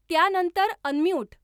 त्यानंतर अनम्यूट